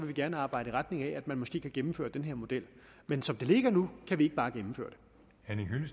vi gerne arbejde i retning af at man måske kan gennemføre den her model men som det ligger nu kan vi ikke bare gennemføre